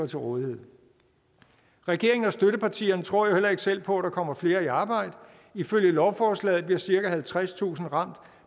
til rådighed regeringen og støttepartierne tror jo heller ikke selv på at der kommer flere i arbejde ifølge lovforslaget bliver cirka halvtredstusind ramt